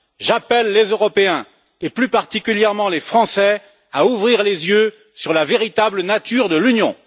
J'appelle les Européens, et plus particulièrement les Français, à ouvrir les yeux sur la véritable nature de l'Union.